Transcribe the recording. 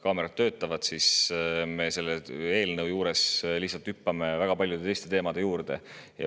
kaamerad töötavad, siis me hüppame selle eelnõu juures lihtsalt väga paljude teiste teemade juurde.